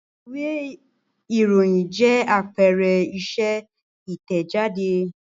Ìwé-ìròyìn jẹ́ àpẹẹrẹ iṣẹ́ Ìtẹ̀jáde.